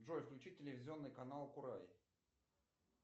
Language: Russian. джой включи телевизионный канал курай